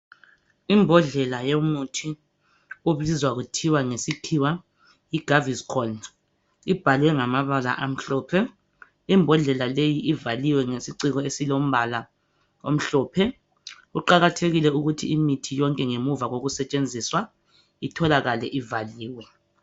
Imbodlela yomuthi obizwa kuthiwa ngesikhiwa yiGaviscon ibhalwe ngamabala amhlophe imbodlela leyi ivaliwe ngesiciko esilombala omhlophe kuqakathekile ukuthi imithi yonke ngemuva kokusetshenziswa itholakale ivaliwe.